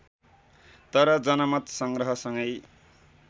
तर जनमत सँग्रहसँगै